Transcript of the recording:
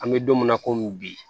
An bɛ don min na komi bi